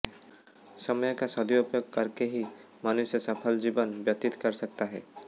समय का सदुपयोग करके ही मनुष्य सफल जीवन व्यतीत कर सकता है